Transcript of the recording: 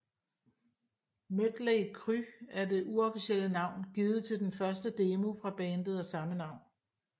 Mötley Crüe er det uofficielle navn givet til den første demo fra bandet af samme navn